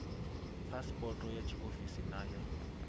phasipoto ya tshiofisi na ya